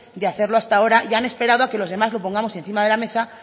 de hacerlo hasta ahora y han esperado a que los demás lo pongamos encima de la mesa